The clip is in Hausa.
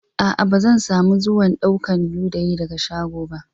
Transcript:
Aa, ba zan samu zuwan daukan ludayin daga shago ba.